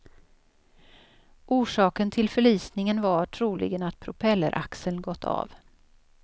Orsaken till förlisningen var troligen att propelleraxeln gått av.